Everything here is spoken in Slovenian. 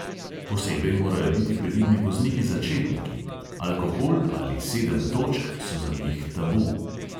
Posebej morajo biti previdni vozniki začetniki, alkohol ali sedem točk so za njih tabu.